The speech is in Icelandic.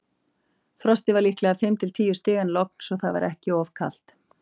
Frostið var líklega fimm til tíu stig en logn svo það var ekki of kalt.